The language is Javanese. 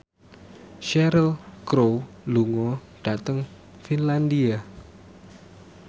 Cheryl Crow lunga dhateng Finlandia